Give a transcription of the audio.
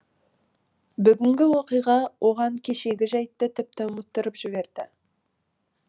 бүгінгі оқиға оған кешегі жәйтті тіпті ұмыттырып жіберді